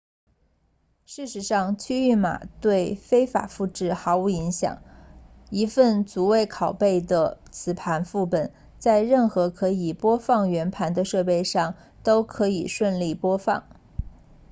事实上区域码对非法复制毫无影响一份逐位拷贝的磁盘副本在任何可以播放原盘的设备上都可以顺利播放